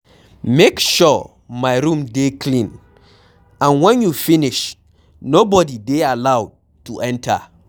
Make sure my room dey clean and wen you finish nobody dey allowed to enter.